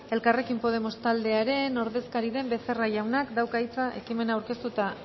elkarrekin podemos taldearen ordezkaria den becerra jaunak dauka hitza ekimena aurkeztu eta